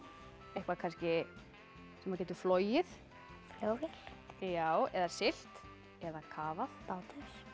eitthvað kannski sem getur flogið flugvél já eða siglt eða kafað bátur